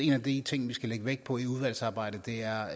en af de ting vi skal lægge vægt på i udvalgsarbejdet er